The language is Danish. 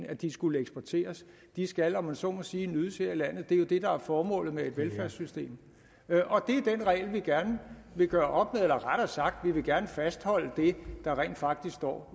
at de skulle eksporteres de skal om man så må sige nydes her i landet det er jo det der er formålet med et velfærdssystem og det er den regel vi gerne vil gøre op med eller rettere sagt vi vil gerne fastholde det der rent faktisk står